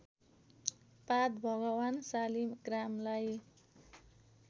पात भगवान शालिग्रामलाई